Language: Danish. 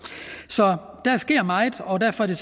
så der sker meget og derfor er